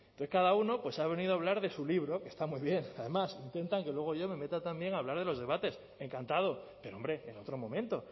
cada uno pues ha venido a hablar de su libro que está muy bien además intentan que luego yo me meta también a hablar de los debates encantado pero hombre en otro momento